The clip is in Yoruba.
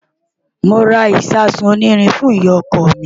Mo ra ìṣasùn onírin fún ìyá-ọkọ mi.